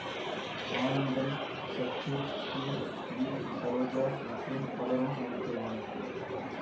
ஆனந்தன் சச்சு ஈ வி சரோஜா மற்றும் பலரும் நடித்திருந்தனர்